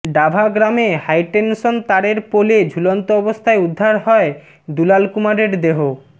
ডাভা গ্রামে হাইটেনশন তারের পোলে ঝুলন্ত অবস্থায় উদ্ধার হয় দুলাল কুমারের দেহ